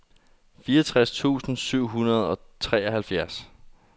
fireogtres tusind syv hundrede og treoghalvfjerds